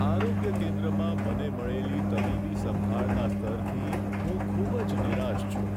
આરોગ્ય કેન્દ્રમાં મને મળેલી તબીબી સંભાળના સ્તરથી હું ખૂબ જ નિરાશ છું.